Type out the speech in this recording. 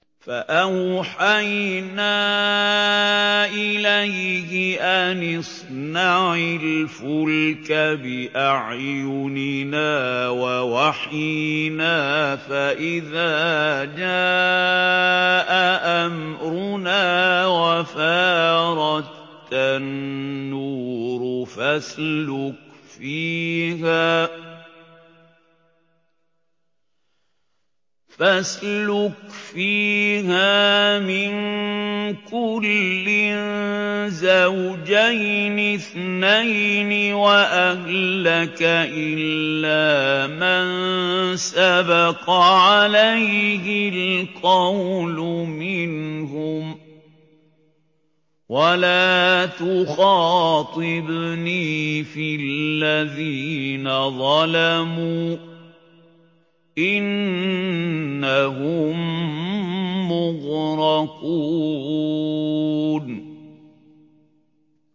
فَأَوْحَيْنَا إِلَيْهِ أَنِ اصْنَعِ الْفُلْكَ بِأَعْيُنِنَا وَوَحْيِنَا فَإِذَا جَاءَ أَمْرُنَا وَفَارَ التَّنُّورُ ۙ فَاسْلُكْ فِيهَا مِن كُلٍّ زَوْجَيْنِ اثْنَيْنِ وَأَهْلَكَ إِلَّا مَن سَبَقَ عَلَيْهِ الْقَوْلُ مِنْهُمْ ۖ وَلَا تُخَاطِبْنِي فِي الَّذِينَ ظَلَمُوا ۖ إِنَّهُم مُّغْرَقُونَ